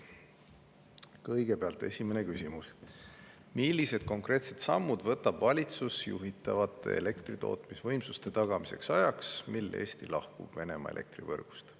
Kõigepealt, esimene küsimus: "Millised konkreetsed sammud võtab valitsus juhitavate elektritootmisvõimsuste tagamiseks ajaks, mil Eesti lahkub Venemaa elektrivõrgust?